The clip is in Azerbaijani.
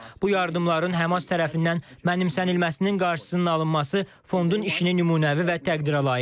Bu yardımların Həmas tərəfindən mənimsənilməsinin qarşısının alınması fondun işini nümunəvi və təqdirəlayiq edir.